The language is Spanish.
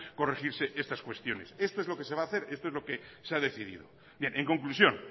corregirse estas cuestiones esto es lo que se va a hacer esto es lo que se ha decidido bien en conclusión